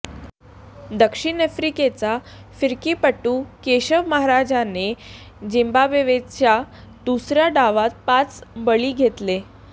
दक्षिण आफ्रिकेचा फिरकीपटू केशव महाराजने झिम्बाब्वेच्या दुसऱ्या डावात पाच बळी घेतले